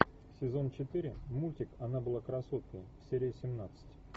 сезон четыре мультик она была красоткой серия семнадцать